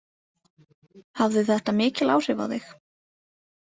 Hafði þetta mikil áhrif á þig?